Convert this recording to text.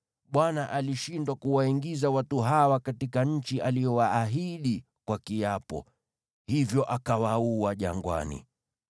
‘ Bwana alishindwa kuwaingiza watu hawa katika nchi aliyowaahidi kwa kiapo; hivyo akawaua jangwani.’